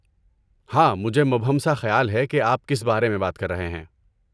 ہاں، مجھے مبہم سا خیال ہے کہ آپ کس بارے میں بات کر رہے ہیں۔